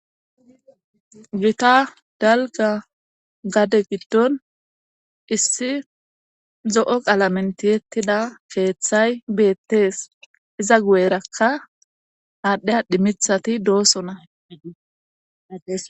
gita dalga gade giddon issi zo7o qalamentiyettida keeththay beettees iza gu7erakka haadhdheyadhimithati doosona